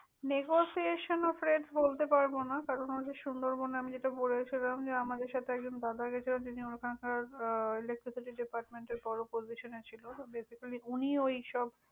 negotiation of rate বলতে পারবনা। কারন ঐ যে সুন্দরবনে আমি যেটা বলেছিলাম, আমাদের সাথে একজন দাদা গিয়েছিলেন, যিনি ওওইসব।, আহ electricity depertment এর বড়ো position এ ছিল। Basically উনিই ওইসব।